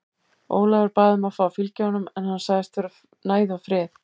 Ólafur bað um að fá að fylgja honum en hann sagðist þurfa næði og frið.